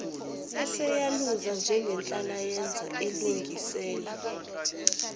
eseyaluza njengenhlalayenza elungisela